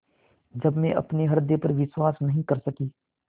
जब मैं अपने हृदय पर विश्वास नहीं कर सकी